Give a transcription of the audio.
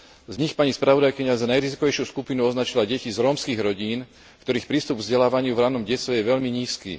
Z nich pani spravodajkyňa za najrizikovejšiu skupinu označila deti z rómskych rodín, ktorých prístup k vzdelávaniu v ranom detstve je veľmi nízky.